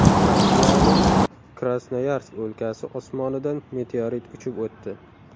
Rossiyaning Krasnoyarsk o‘lkasi osmonidan meteorit uchib o‘tdi .